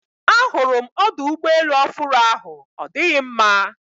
A hụrụ m ọdụ ụgbọ elu ofụru ahụ ọ dịghị mma